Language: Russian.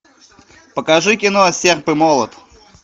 покажи кино серб и молот